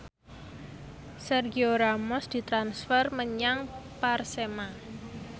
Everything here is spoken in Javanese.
Sergio Ramos ditransfer menyang Persema